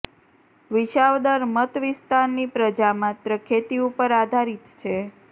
વિસાવદર મત વિસ્તારની પ્રજા માત્ર ખેતી ઉપર આધારિત છે